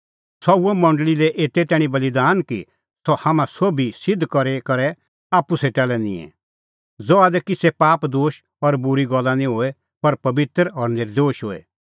सह हुअ मंडल़ी लै एते तैणीं बी बल़ीदान कि सह हाम्हां सोभी सिध्द करी करै आप्पू सेटा लै निंए ज़हा दी किछ़ै पापदोश और बूरी गल्ला निं होए पर पबित्र और नर्दोश होए